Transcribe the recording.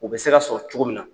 U bɛ se ka sɔrɔ cogo min na.